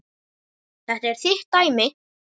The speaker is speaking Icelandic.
Þetta er þitt dæmi.